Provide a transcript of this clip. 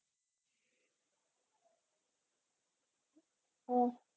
ആം